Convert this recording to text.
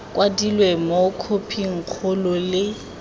kwadilwe mo khophing kgolo le